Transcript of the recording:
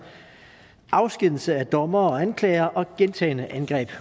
afskedigelse af dommere og anklagere og gentagne angreb